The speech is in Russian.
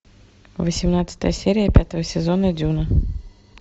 восемнадцатая серия пятого сезона дюна